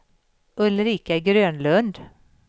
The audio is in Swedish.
Ulrika Grönlund